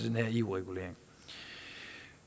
den her eu regulering